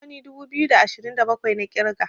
gwangwani dubu biyu da ashirin da bakwai na kirga